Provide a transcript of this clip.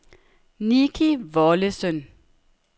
Nicki Wollesen